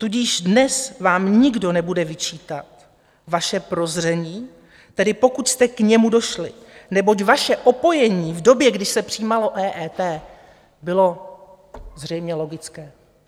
Tudíž dnes vám nikdo nebude vyčítat vaše prozření, tedy pokud jste k němu došli, neboť vaše opojení v době, kdy se přijímalo EET, bylo zřejmě logické.